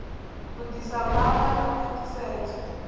u ḓisa gwama ḽa khwaṱhisedzo